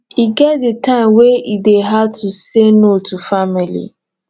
e get di time wen e dey hard to say no to family